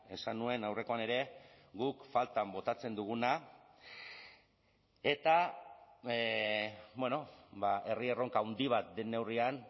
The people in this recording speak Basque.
esan nuen aurrekoan ere guk faltan botatzen duguna eta herri erronka handi bat den neurrian